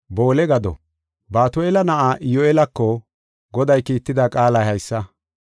Batu7eela na7aa Iyyu7eelako Goday kiitida qaalay haysa.